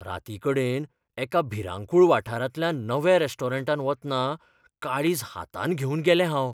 रातीकडेन एका भिरांकूळ वाठारांतल्यान नव्या रेस्टॉरंटांत वतना काळीज हातांत घेवन गेलें हांव.